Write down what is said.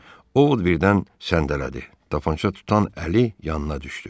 Ovod birdən səndələdi, tapança tutan əli yanına düşdü.